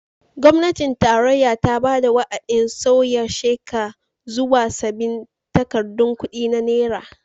Gwamnatin tarayya ta bada wa'adin sauya sheka zuwa sabbin takardun kudi na naira.